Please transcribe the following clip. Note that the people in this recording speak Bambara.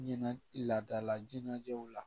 Ɲɛna laadala jinɛw la